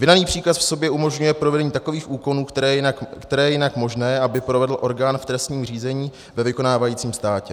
Vydaný příkaz v sobě umožňuje provedení takových úkonů, které je jinak možné, aby provedl orgán v trestním řízení ve vykonávajícím státě.